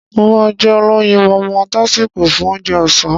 Mo máá jẹ olóyinmọmọ tásíko fún Ounjẹ ọ̀sán